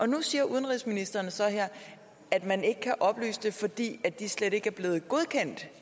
nu siger udenrigsministeren så her at man ikke kan oplyse det fordi de slet ikke er blevet godkendt